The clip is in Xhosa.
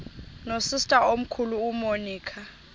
nosister omkhulu umonica